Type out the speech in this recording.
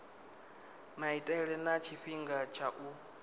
maitele na tshifhinga tsha u